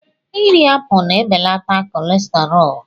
Irí apụl na-ebelata kọlesterọọl.